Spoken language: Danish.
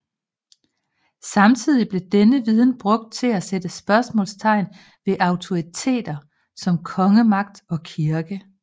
Samtidig blev denne viden brugt til at sætte spørgsmålstegn ved autoriteter som kongemagt og kirke